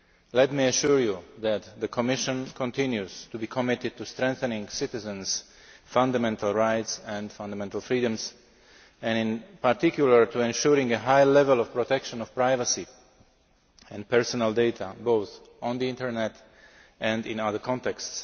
Let me assure you that the Commission continues to be committed to strengthening citizens' fundamental rights and fundamental freedoms, and in particular to ensuring a high level of protection of privacy and personal data, both on the Internet and in other contexts.